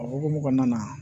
O hukumu kɔnɔna na